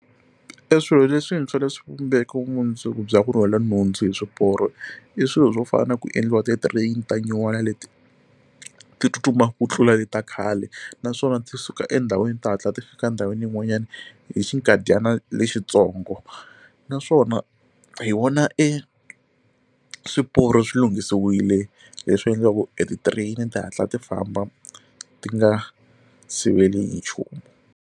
Eswilo leswintshwa leswi vumbeke vumundzuku bya ku rhwala nhundzu hi swiporo i swilo swo fana na ku endliwa ti train ta nyuwana leti ti tsutsumaka ku tlula le ta khale naswona ti suka endhawini ti hatla ti fika endhawini yin'wanyana hi xikadyana lexitsongo naswona hi wona eswiporo swi lunghisiwile leswi endlaku eti train ti hatla ti famba ti nga siveli hi nchumu.